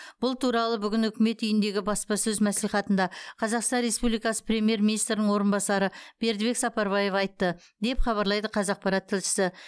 бұл туралы бүгін үкімет үйіндегі баспасөз мәслихатында қазақстан республикасы премьер министрінің орынбасары бердібек сапарбаев айтты деп хабарлайды қазақпарат тілшісі